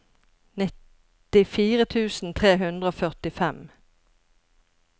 nittifire tusen tre hundre og førtifem